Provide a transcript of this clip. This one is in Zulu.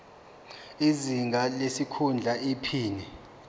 izinga lesikhundla iphini